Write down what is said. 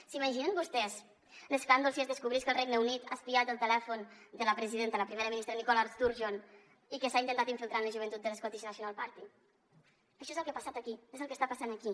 s’imaginen vostès l’escàndol si es descobrís que el regne unit ha espiat el telèfon de la presidenta la primera ministra nicola sturgeon i que s’ha intentat infiltrar en la joventut de l’scottish national party això és el que ha passat aquí és el que està passant aquí